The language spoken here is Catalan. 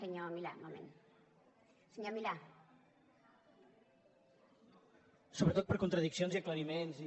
sobretot per contradiccions i aclariments i